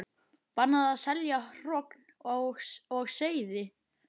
Bannað að selja hrogn og seiði